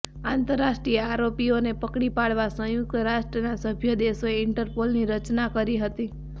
આંતરરાષ્ટ્રીય આરોપીઓને પકડી પાડવા સંંયુક્ત રાષ્ટ્રના સભ્ય દેશોએ ઈન્ટરપોલની રચના કરી હતી